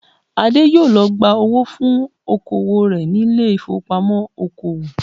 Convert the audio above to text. Adé yóò lọ gba owó fún oko òwò rẹ̀ ní ilé ìfowópamọ́ oko òwò